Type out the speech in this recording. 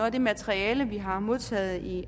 af det materiale vi har modtaget i